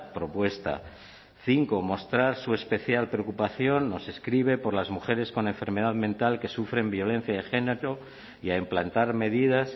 propuesta cinco mostrar su especial preocupación nos escribe por las mujeres con enfermedad mental que sufren violencia de género y a implantar medidas